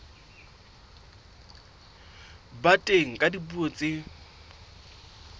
ba teng ka dipuo tse